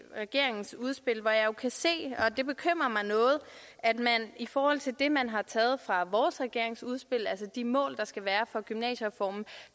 regeringens udspil hvor jeg jo kan se og det bekymrer mig noget at man i forhold til det man har taget fra vores regeringsudspil altså de mål der skal være for gymnasiereformen